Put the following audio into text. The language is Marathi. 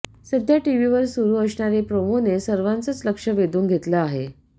सध्या टीव्हीवर सुरू असणारे प्रोमोने सर्वांचच लक्ष वेधून घेतलं आहे